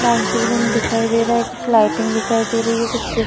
dancing room दिखाई दे रहा है कुछ लाइटिंग दिखाई दे रही है कुछ --